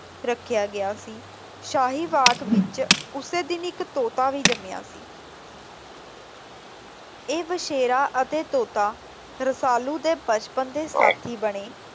ਰੱਖਿਆ ਗਿਆ ਸੀ। ਸ਼ਾਹੀ ਬਾਗ ਵਿੱਚ ਉਸੇ ਦਿਨ ਹੀ ਇੱਕ ਤੇਤੀ ਵੀ ਜੰਮਿਆ ਸੀ। ਇਹ ਬ਼ੇਸ਼ਰਾ ਅੱਤੇ ਤੋਤਾ ਰਸਾਲੂ ਦੇ ਬਚਪਨ ਦੇ ਸਾਥੀ ਬਣੇ।